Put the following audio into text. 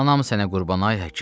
Anam sənə qurban, ay həkim.